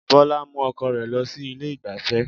Bọlá mú ọkọ rẹ̀ lọ sí ilé ìgbáfẹ́